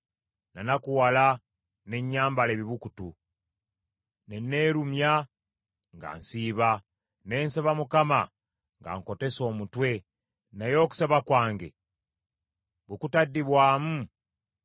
So nga bwe baalwala nanakuwala ne nnyambala ebibukutu, ne neerumya nga nsiiba, ne nsaba Mukama nga nkotese omutwe, naye okusaba kwange bwe kutaddibwamu,